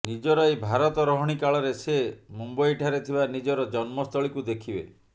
ନିଜର ଏହି ଭାରତ ରହିଣି କାଳରେ ସେ ମୁମ୍ବଇଠାରେ ଥିବା ନିଜର ଜନ୍ମସ୍ଥଳୀକୁ ଦେଖିବେ